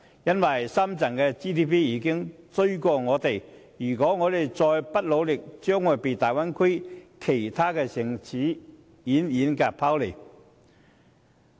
須知道深圳的本地生產總值已超越我們，如果香港再不努力，將會被大灣區其他城市遠遠拋離。